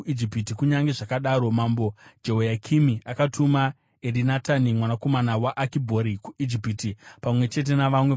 Kunyange zvakadaro, mambo Jehoyakimi akatuma Erinatani mwanakomana waAkibhori kuIjipiti, pamwe chete navamwe varume.